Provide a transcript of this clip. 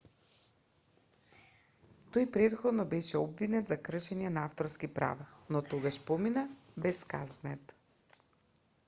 тој и претходно беше обвинет за кршење на авторски права но тогаш помина без казнет